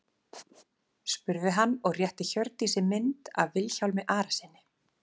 spurði hann og rétti Hjördísi mynd af Vilhjálmi Arasyni.